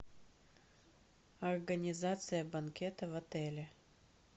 организация банкета в отеле